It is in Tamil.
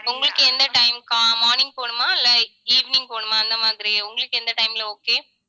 உங்களுக்கு எந்த time க்கா ஆஹ் morning போணுமா இல்லை evening போணுமா அந்த மாதிரி உங்களுக்கு எந்த time ல okay